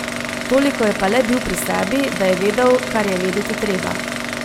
Toliko je pa le bil pri sebi, da je vedel, kar je vedeti treba.